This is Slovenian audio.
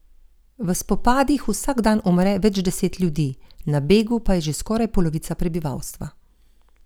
V spopadih vsak dan umre več deset ljudi, na begu pa je že skoraj polovica prebivalstva.